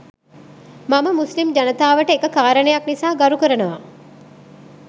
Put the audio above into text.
මම මුස්ලිම් ජනතාවට එක කාරණයක් නිසා ගරු කරනවා.